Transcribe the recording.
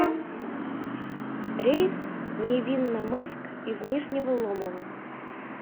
рейс в невинномысск из нижнего ломова